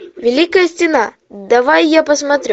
великая стена давай я посмотрю